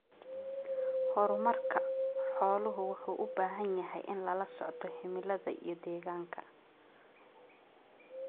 Horumarka xooluhu wuxuu u baahan yahay in lala socdo cimilada iyo deegaanka.